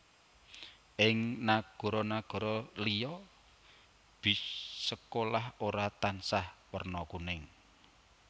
Ing nagara nagara liya bis sekolah ora tansah werna kuning